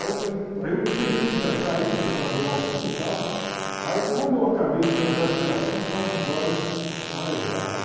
Aí eu falei, aí eu tentei cantar isso, já estava meio altinho e tal, aí quando eu acabei de cantar esse pedacinho, estava com os olhos marejados.